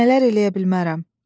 Mən nələr eləyə bilmərəm?